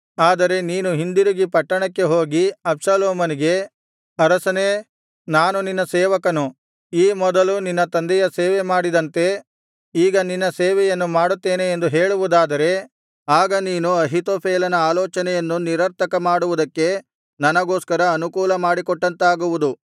ಆದರೆ ನೀನು ಹಿಂದಿರುಗಿ ಪಟ್ಟಣಕ್ಕೆ ಹೋಗಿ ಅಬ್ಷಾಲೋಮನಿಗೆ ಅರಸನೇ ನಾನು ನಿನ್ನ ಸೇವಕನು ಈ ಮೊದಲು ನಿನ್ನ ತಂದೆಯ ಸೇವೆ ಮಾಡಿದಂತೆ ಈಗ ನಿನ್ನ ಸೇವೆಯನ್ನು ಮಾಡುತ್ತೇನೆ ಎಂದು ಹೇಳುವುದಾದರೆ ಆಗ ನೀನು ಅಹೀತೋಫೆಲನ ಆಲೋಚನೆಯನ್ನು ನಿರರ್ಥಕಮಾಡುವುದಕ್ಕೆ ನನಗೋಸ್ಕರ ಅನುಕೂಲ ಮಾಡಿಕೊಟ್ಟಂತಾಗುವುದು